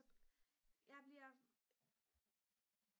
jeg bliver